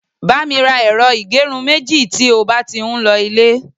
ba mi ra ẹrọ igerun meji ti o ba ti n lo ile